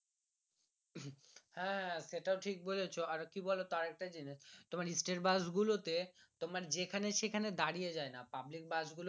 হ্যাঁ সেইটাও ঠিক বলেছো আর কি বলতো আরেকটা জিনিস তোমার state বাস গুলো তে তোমার যেখানে সেখানে দাঁড়িয়ে যায়না পাবলিক বাস গুলো state.